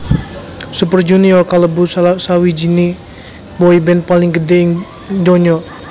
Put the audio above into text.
Super Junior kalebu salah sawijininé boyband paling gedhé ing ndonya